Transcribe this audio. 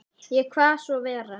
Ég kvað svo vera.